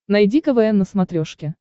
найди квн на смотрешке